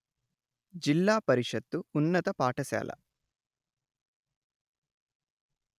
జిల్లా పరిషత్తు ఉన్నత పాఠశాల